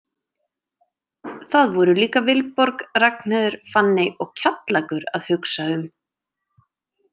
Það voru líka Vilborg og Ragnheiður, Fanney og Kjallakur að hugsa um.